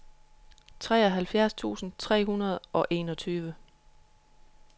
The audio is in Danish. treoghalvfjerds tusind tre hundrede og enogtyve